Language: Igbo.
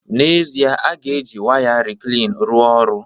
N'ezie, a ga-eji waya reclean rụọ ọrụ